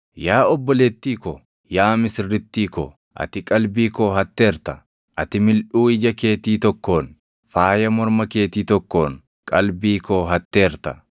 Yaa obboleettii ko, yaa misirrittii ko, ati qalbii koo hatteerta; ati milʼuu ija keetii tokkoon, faaya morma keetii tokkoon qalbii koo hatteerta.